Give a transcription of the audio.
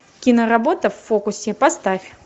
киноработа в фокусе поставь